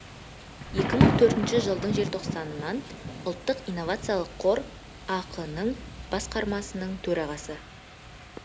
екі мың төртінші жылдың желтоқсанынан ұлттық инновациялық қор ақ ның басқармасының төрағасы